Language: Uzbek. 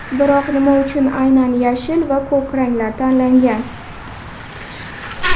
Biroq nima uchun aynan yashil va ko‘k ranglar tanlangan?